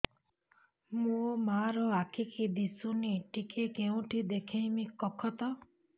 ମୋ ମା ର ଆଖି କି ଦିସୁନି ଟିକେ କେଉଁଠି ଦେଖେଇମି କଖତ